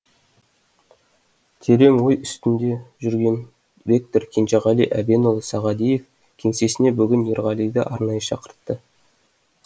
терең ой үстінде жүрген ректор кенжеғали әбенұлы сағадиев кеңсесіне бүгін ерғалиды арнайы шақыртты